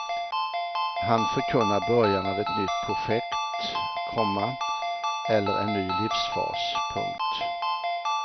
Han förkunnar början av ett nytt projekt, komma eller en ny livsfas. punkt